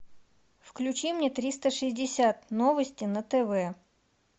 включи мне триста шестьдесят новости на тв